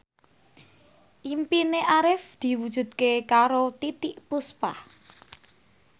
impine Arif diwujudke karo Titiek Puspa